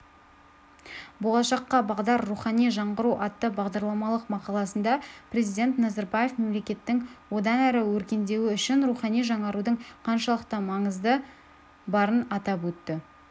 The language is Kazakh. болашаққа бағдар рухани жаңғыру атты бағдарламалық мақаласында президент назарбаев мемлекеттің одан әрі өркендеуі үшін рухани жаңарудың қаншалықты маңызы барын атап көрсетті